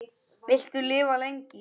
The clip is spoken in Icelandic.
Viltu lifa lengi?